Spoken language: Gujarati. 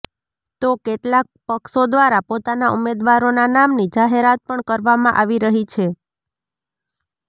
તો કેટલાક પક્ષો દ્વારા પોતાના ઉમેદવારોના નામની જાહેરાત પણ કરવામાં આવી રહી છે